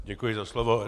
Děkuji za slovo.